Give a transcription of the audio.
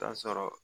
Taa sɔrɔ